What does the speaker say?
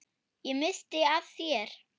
Ég missti af þér.